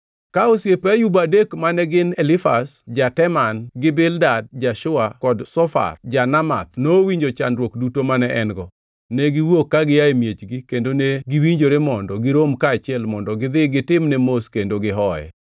Ka osiepe Ayub adek mane gin Elifaz ja-Teman gi Bildad ja-Shua kod Zofar Ja-Namath nowinjo chandruok duto mane en-go, ne giwuok ka gia e miechgi kendo ne giwinjore mondo girom kaachiel mondo gidhi gitimne mos kendo gihoye.